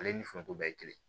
Ale ni foronto bɛ ye kelen